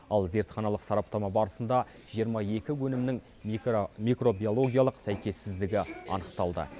ал зертханалық сараптама барысында жиырма екі өнімнің микробиологиялық сәйкессіздігі анықталды